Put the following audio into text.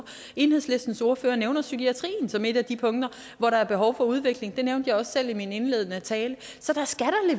enhedslistens ordfører nævner psykiatrien som et af de punkter hvor der er behov for udvikling det nævnte jeg også selv i min indledende tale så der skal